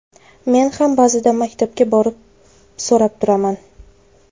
Men ham ba’zida maktabga borib so‘rab turaman.